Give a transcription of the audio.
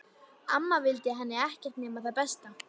Amma vildi henni ekkert nema það besta.